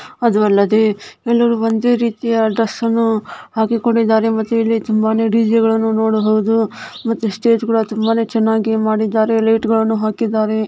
ಅದು ಅಲ್ಲದೆ ಎಲ್ಲರೂ ಒಂದೇ ರೀತಿಯ ಡ್ರೆಸ್ ಅನ್ನು ಹಾಕಿಕೊಂಡಿದ್ದಾರೆ ಮತ್ತು ಇಲ್ಲಿ ತುಂಬಾನೆ ಡಿಜೆಗಳನ್ನೂ ನೋಡಬಹುದು ಮತ್ತುಇಲ್ಲಿ ಸ್ಟೇಜ್ ಗಳನ್ನು ಕೂಡ ತುಂಬಾ ಚೆನ್ನಾಗಿ ಮಾಡಿದ್ದಾರೆ ಲೈಟ್ಗಳನ್ನೂ ಹಾಕಿದ್ದಾರೆ.